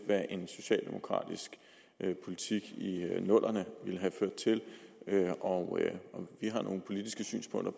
hvad en socialdemokratisk politik i 00’erne ville have ført til og vi har nogle politiske synspunkter